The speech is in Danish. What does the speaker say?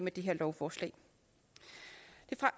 det her lovforslag